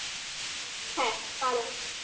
হ্যাঁ পাড়ায়